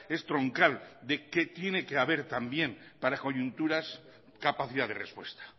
es troncal de que tiene que haber también para coyunturas capacidad de respuesta